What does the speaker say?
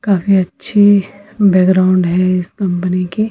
काफी अच्छी बैकग्राउंड है इस कंपनी की--